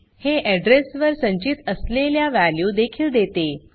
हे अड्रेस वर संचित असलेल्या वॅल्यू देखील देते